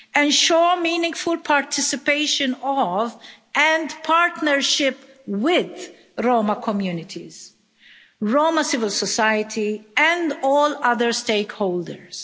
ensure meaningful participation of and partnership with Roma communities, Roma civil society and all other stakeholders